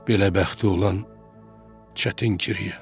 Belə bəxti olan çətin kiriyə.